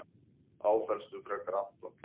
Áfellstu frekar Anton.